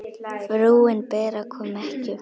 Frúin Bera kom ekki.